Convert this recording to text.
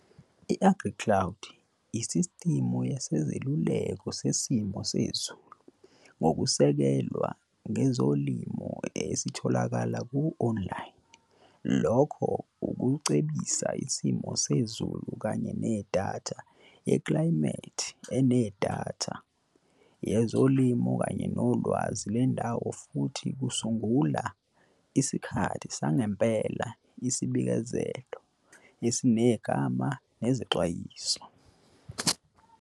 I-AgriCloud yisistimu yeseluleko sesimo sezulu ngokusekelwa ngezolimo esitholakala ku-online lokho ukucebisa isimo sezulu kanye nedatha yeklayimethi enedatha yezolimo kanye nolwazi lwendawo futhi kusungula isikhathi sangempela isibikezelo esinegama nezexwayiso.